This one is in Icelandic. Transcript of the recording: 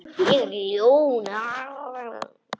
Ég er ljón.